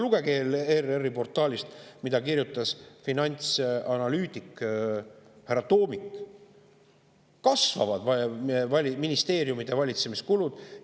Lugege ERR-i portaalist, mida kirjutas finantsanalüütik härra Toomik: ministeeriumide valitsemiskulud kasvavad.